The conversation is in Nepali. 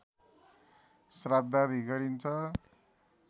श्राद्धादि गरिन्छ